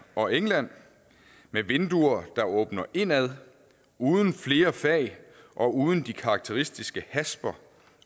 og england med vinduer der åbner indad uden flere fag og uden de karakteristiske hasper